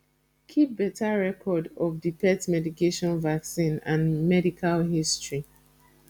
keep better record of di pet medication vaccine and medical history